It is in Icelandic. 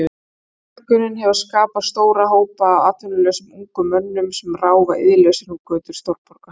Fólksfjölgunin hefur skapað stóra hópa af atvinnulausum ungum mönnum sem ráfa iðjulausir um götur stórborga.